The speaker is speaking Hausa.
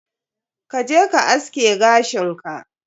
Ka je ka aske gashin ka.